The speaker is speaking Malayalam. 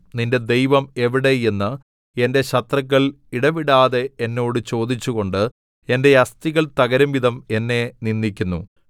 നിന്റെ ദൈവം എവിടെ എന്ന് എന്റെ ശത്രുക്കൾ ഇടവിടാതെ എന്നോട് ചോദിച്ചു കൊണ്ട് എന്റെ അസ്ഥികൾ തകരും വിധം എന്നെ നിന്ദിക്കുന്നു